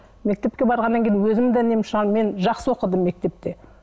мектепке барғаннан кейін өзім де мен жақсы оқыдым мектепте